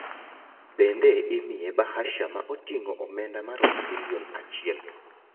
Bende imiye bahasha ma otingo omenda maromo milion. achiel